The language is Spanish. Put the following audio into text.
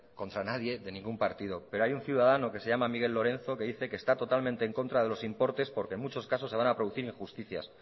contra nadie de ningún partido pero hay un ciudadano que se llama miguel lorenzo que dice que está totalmente en contra de los importes porque en muchos casos se va a producir injusticias